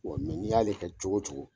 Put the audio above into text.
Wa mɛ n'i y'ale kɛ cogo o cogo